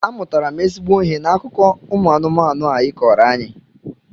Amụtara m ezigbo ihe n'akụkọ ụmụ anụmanụ ị kọọrọ anyị